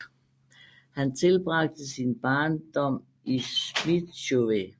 Han tilbragte sin barndom i Smíchove